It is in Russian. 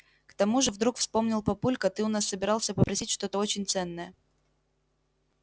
к тому же вдруг вспомнил папулька ты у нас собирался попросить что-то очень ценное